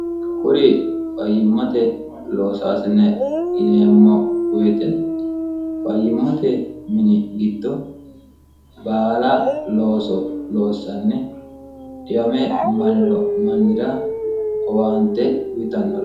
kuri fayyimmote loosoasine gineemmo woyite fayyimmote mini giddo baala looso loossanni dhiwame maniro mannira howaante uyitannoore